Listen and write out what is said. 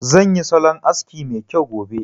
Zan yi salon aski mai kyau gobe